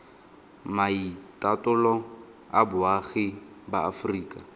maitatolo a boagi ba aforika